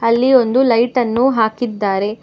ಅಲ್ಲಿ ಒಂದು ಲೈಟ್ ಅನ್ನು ಹಾಕಿದ್ದಾರೆ.